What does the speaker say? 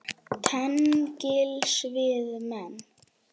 Tengsl við menn